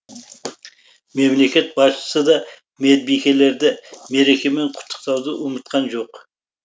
мемлекет басшысы да медбикелерді мерекемен құттықтауды ұмытқан жоқ